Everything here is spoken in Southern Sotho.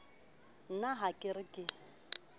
na ha ke re ke